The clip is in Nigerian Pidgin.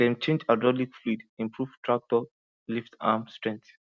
dem change hydraulic fluid improve tractor lift arm strength